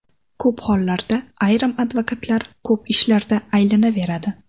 Ko‘p holatlarda ayrim advokatlar ko‘p ishlarda aylanaveradi.